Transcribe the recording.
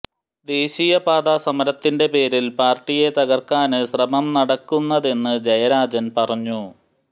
ദേശീയപാതാ സമരത്തിന്റെ പേരിൽ പാർട്ടിയെ തകർക്കാൻ ശ്രമം നടക്കുന്നതെന്ന് ജയരാജൻ പറഞ്ഞു